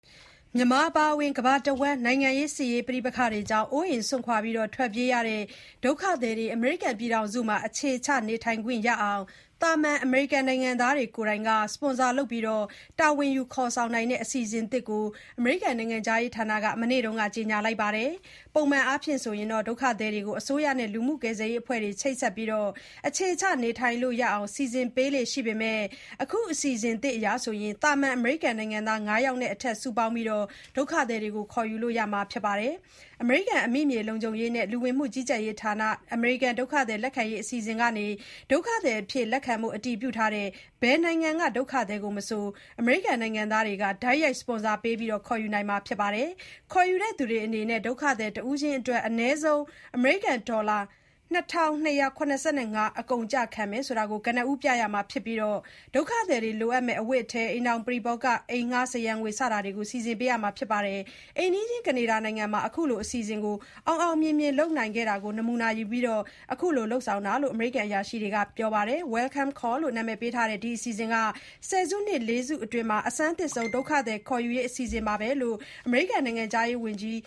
မြန်မာအပါအဝင် ကမ္ဘာတဝန်း နိုင်ငံရေး၊ စစ်ရေး ပဋိပက္ခတွေကြောင့် အိုးအိမ်စွန့်ခွာ ထွက်ပြေးရတဲ့ ဒုက္ခသည်တွေ အမေရိကန်ပြည်ထောာင်စုမှာ အခြေချ နေထိုင်ခွင့်ရအောင် သာမန်အမေရိကန် နိုင်ငံသားတွေ ကိုယ်တိုင်က စပွန်ဆာလုပ် တာဝန်ယူခေါ်နိုင်တဲ့ အစီအစဉ်သစ်ကို အမေရိကန်နိုင်ငံခြားရေးဌာနက ဇန်နဝါရီ ၁၉ ရက်နေ့က ကြေညာပါတယ်။ ပုံမှန်အားဖြင့် ဒုက္ခသည်တွေကို အစိုးရနဲ့ လူမှုကယ်ဆယ်ရေး အဖွဲ့တွေ ချိတ်ဆက်ပြီး အခြေချနေထိုင်လို့ရအောင် စီစဉ်ပေးလေ့ရှိပေမယ့် အခုအစီအစဉ်သစ်အရ သာမန်အမေရိကန်နိုင်ငံသား ၅ ယောက်နဲ့ အထက်စုပေါင်းပြီး ဒုက္ခသည်တွေကို ခေါ်ယူလို့ရမှာ ဖြစ်ပါတယ်။ အမေရိကန် အမိမြေလုံခြုံရေးနဲ့ လူဝင်မှုကြီးကြပ်ရေးဌာနနဲ့ အမေရိကန် ဒုက္ခသည်လက်ခံရေး အစီအစဉ်ကနေ ဒုက္ခသည်အဖြစ် လက်ခံဖို့ အတည်ပြုထားတဲ့ ဘယ်နိုင်ငံက ဒုက္ခသည်ကိုမဆို အမေရိကန်နိုင်ငံသားတွေက တိုက်ရိုက် စပွန်ဆာပေး ခေါ်ယူနိုင်တာ ဖြစ်ပါတယ်။ ခေါ်ယူတဲ့သူတွေအနေနဲ့ ဒုက္ခသည်တဦးအတွက် အနည်းဆုံး ဒေါ်လာ ၂,၂၇၅ အကုန်အကျ ခံမယ်ဆိုတာကို ကနဦးပြရမှာဖြစ်ပြီး ဒုက္ခသည်လိုအပ်မယ့် အဝတ်အည်၊ အိမ်ထောင်ပရိဘောဂ၊ အိမ်ငှား စရံငွေ စသဖြင့် စီစဉ်ပေးရမှာပါ။ အိမ်နီးချင်း ကနေဒါနိုင်ငံမှာ ခုလိုအစီအစဉ်ကို အောင်အောင်မြင်မြင် လုပ်နိုင်ခဲ့တာကို နမူနာယူပြီး အခုလို လုပ်ဆောင်တာလို့ အမေရိကန်အရာရှိတွေက ပြောပါတယ်။ “Welcome Corps” လို့ နာမည်ပေးထားတဲ့ ဒီအစီအစဉ်က ဆယ်စုနှစ် ၄ စုအတွင်း အဆန်းသစ်ဆုံး ဒုက္ခသည် ခေါ်ယူရေး အစီအစဉ်ပါပဲလို့ အမေရိကန်နိုင်ငံခြားရေး ဝန်ကြီး